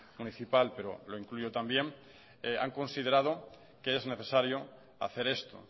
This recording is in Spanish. municipal pero lo incluyo también han considerado que es necesario hacer esto